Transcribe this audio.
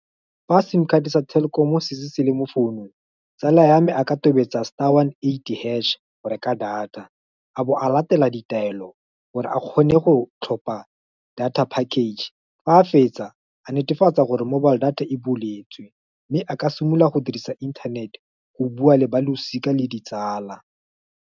Fa sim card sa Telkom setse se le mo founung, tsala ya me a ka tobetsa star one eight hash, go reka data a bo a latela ditaelo gore a kgone go tlhopa data package. Fa a fetsa a netefatsa gore mobile data e buletswe, mme a ka simolola go dirisa inthanete go bua le balosika le ditsala.